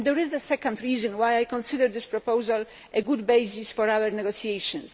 There is a second reason why I consider this proposal a good basis for our negotiations.